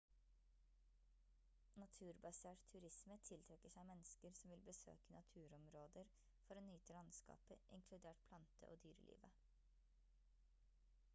naturbasert turisme tiltrekker seg mennesker som vil besøke naturområder for å nyte landskapet inkludert plante- og dyrelivet